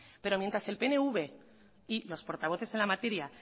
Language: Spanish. pero mientras el pnv y los portavoces en la materia